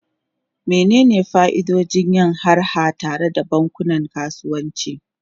Menene fa'idodin yin harha tare da bankunan kasuwanci?